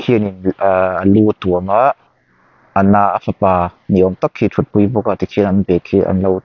khianin ahh a lu a tuam a a na a fapa ni awm tak khi a thutpui bawk a tikhian an bag khi an lo--